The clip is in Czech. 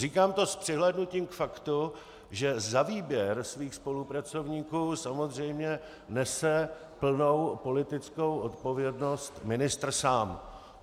Říkám to s přihlédnutím k faktu, že za výběr svých spolupracovníků samozřejmě nese plnou politickou odpovědnost ministr sám.